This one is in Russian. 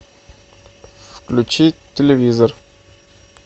включи телевизор